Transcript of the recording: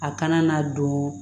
A kana na don